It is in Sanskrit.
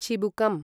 चिबुकम्